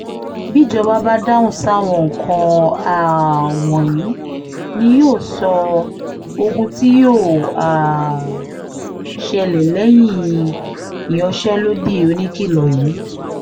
bíjọba bá dáhùn sáwọn nǹkan um wọ̀nyí ni yóò sọ ogún tí yóò um ṣẹlẹ̀ lẹ́yìn ìyanṣẹ́lódì oníkìlọ̀ yìí